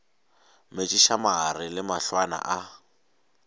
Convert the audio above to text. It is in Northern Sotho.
metšiša mare le mahlwana a